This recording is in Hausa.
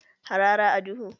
Harara a duhu